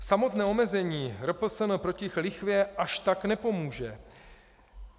Samotné omezení RPSN proti lichvě až tak nepomůže.